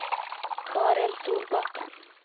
Karin Solbakken